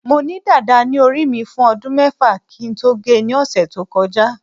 mo ni dada ni ori mi fun odun mefa ki n to ge ni ose to koja